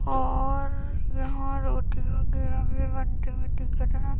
और यहां भी बनते हुए दिख रहा--